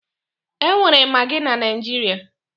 E nwere magị na Naịjirịa